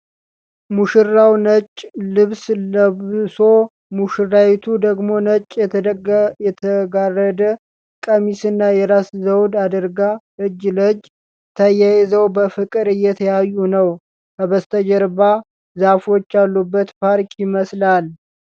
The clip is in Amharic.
ሙሽራው ነጭ ልብስ ለብሶ፣ ሙሽራይቱ ደግሞ ነጭ የተጋረደ ቀሚስና የራስ ዘውድ አድርጋ እጅ ለእጅ ተያይዘው በፍቅር እየተያዩ ነው። ከበስተጀርባ ዛፎች ያሉበት ፓርክ ይመስላል።